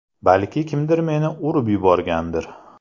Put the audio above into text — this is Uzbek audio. Balki kimdir meni urib yuborgandir.